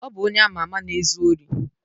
Ọ bụ onye ama ama na-ezu ori.